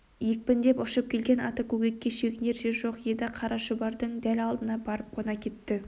екпіндеп ұшып келген ата көкекке шегінер жер жоқ еді қара шұбардың дәл алдына барып қона кетті